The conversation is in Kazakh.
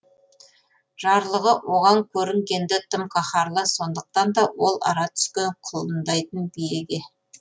жарлығы оған көрінген ді тым қаһарлы сондықтан да ол ара түскен құлындайтын биеге